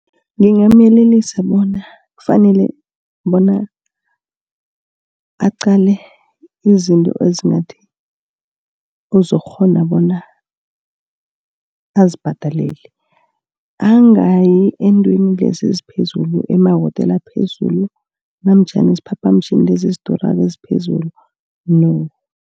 Ngingamyelelisa bona kufanele bona aqale izinto ezingathi, ozokukghona bona azibhadelele. Angayi eentweni lezi eziphezulu, emawotela aphezulu namtjhana isiphaphamtjhini lezi ezidurako eziphezulu no.